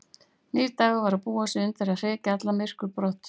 Nýr dagur var að búa sig undir að hrekja allt myrkur á brott.